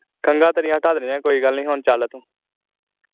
ਖੰਗਾ ਤੇਰੀਆਂ ਹਟਾ ਦੇਣੀਆਂ ਕੋਈ ਗੱਲ ਹੁਣ ਚਲ ਤੂੰ